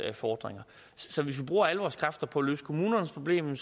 fordringer så hvis vi bruger alle vores kræfter på at løse kommunernes problem